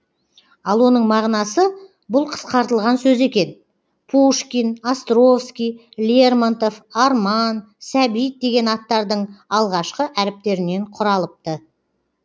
ал оның мағынасы бұл қысқартылған сөз екен пушкин островский лермонтов арман сәбит деген аттардың алғашқы әріптерінен құралыпты